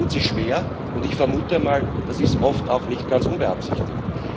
Man tut sich schwer, und ich vermute mal, das ist oft auch nicht ganz unbeabsichtigt.